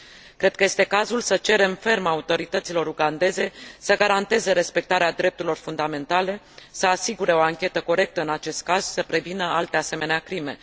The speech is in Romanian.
Cred că este cazul să cerem ferm autorităților ugandeze să garanteze respectarea drepturilor fundamentale, să asigure o anchetă corectă în acest caz și să prevină alte asemenea crime.